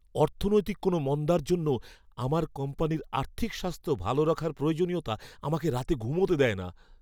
অর্থনৈতিক কোনও মন্দার জন্য আমার কোম্পানির আর্থিক স্বাস্থ্য ভালো রাখার প্রয়োজনীয়তা আমাকে রাতে ঘুমোতে দেয় না।